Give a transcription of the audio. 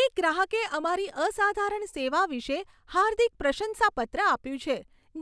એક ગ્રાહકે અમારી અસાધારણ સેવા વિશે હાર્દિક પ્રશંસાપત્ર આપ્યું છે,